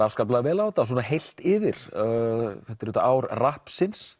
afskaplega vel á þetta heilt yfir þetta er auðvitað ár